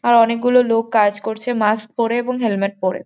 আর অনেকগুলো লোক কাজ করছে মাস্ক পরে এবং হেলমেট পরে।